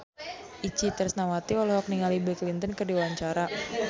Itje Tresnawati olohok ningali Bill Clinton keur diwawancara